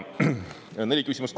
Siin on kokku neli küsimust.